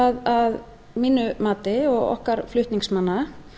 að mínu mati og okkar flutningsmanna